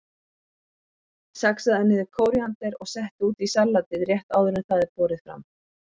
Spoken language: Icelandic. Saxaðu niður kóríander og settu út í salatið rétt áður en það er borið fram.